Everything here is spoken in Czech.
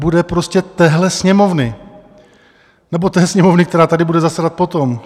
Bude prostě téhle Sněmovny nebo té Sněmovny, která tady bude zasedat potom.